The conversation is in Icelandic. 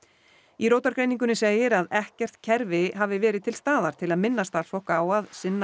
í segir að ekkert kerfi hafi verið til staðar til að minna starfsfólk á að sinna